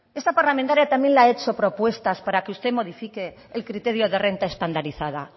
esta parlamentaria también le ha hecho propuestas para que usted modifique el criterio de renta estandarizada